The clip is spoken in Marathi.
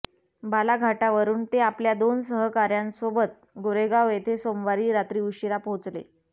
बालाघाटावरुन ते आपल्या दोन सहकाऱ्यांसोबत गोरेगाव येथे सोमवारी रात्री उशीरा पोहोचले